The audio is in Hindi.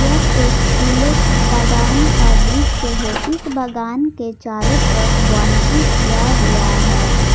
यह एक फूलों की बागान का दृश्य है इस बागान के चारों तरफ बाउंड्री किया हुआ है।